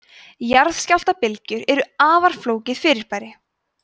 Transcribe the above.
jarðskjálftabylgjur eru afar flókið fyrirbæri